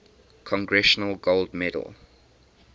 congressional gold medal